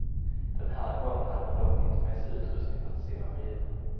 Den här gången hade man dock inte med sig utrustning för att simma med djuren.